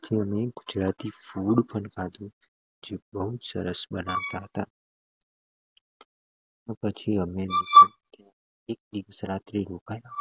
જે જે બઉ જ સરસ બનવતા હતા ને પછી અમ લોકો રોકાયા